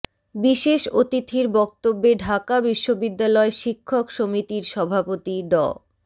বিশেষ অতিথির বক্তব্যে ঢাকা বিশ্ববিদ্যালয় শিক্ষক সমিতির সভাপতি ড